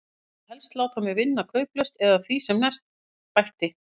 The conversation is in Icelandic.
Og vill helst láta mig vinna kauplaust eða því sem næst, bætti